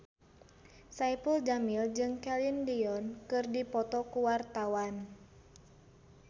Saipul Jamil jeung Celine Dion keur dipoto ku wartawan